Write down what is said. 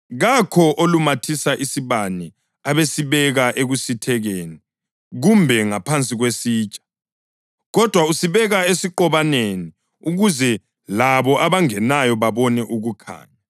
“Kakho olumathisa isibane abesesibeka ekusithekeni kumbe ngaphansi kwesitsha. Kodwa usibeka esiqobaneni ukuze labo abangenayo babone ukukhanya.